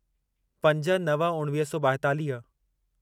पंज नव उणिवीह सौ ॿाएतालीह